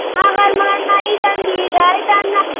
ақ арманы айдан биік айдана